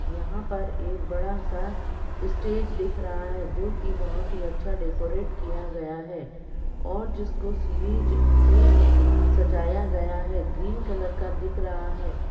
यहां पर एक बड़ा-सा स्टेज दिख रहा है जोकि बहोत ही अच्छा डेकोरेट किया गया है और जिसको सीरीज से सजाया गया है। ग्रीन कलर का दिख रहा है।